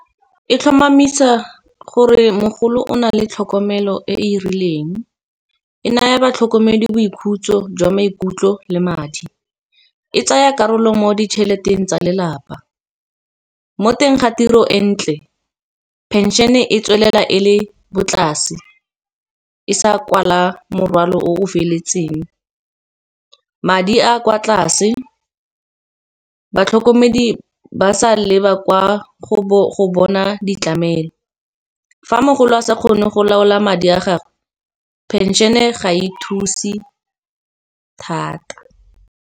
E tlhomamisa gore mogolo o na le tlhokomelo e e rileng, e naya batlhokomedi boikhutso jwa maikutlo le madi. E tsaya karolo mo ditšheleteng tsa lelapa, mo teng ga tiro e ntle pension-e tswelela e le bo tlase e sa kwala morwalo o feletseng. Madi a kwa tlase, batlhokomedi ba sa leba kwa go bona ditlamelo. Fa mogolo a sa kgone go laola madi a gagwe pension-e ga e thuse thata.